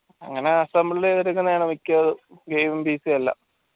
അങ്ങനെ assemble യ്‌തെടുക്കുന്നതാണ് game എല്ലാം